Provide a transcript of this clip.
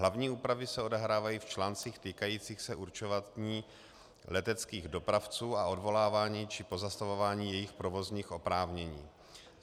Hlavní úpravy se odehrávají v článcích týkajících se určování leteckých dopravců a odvolávání či pozastavování jejich provozních oprávnění.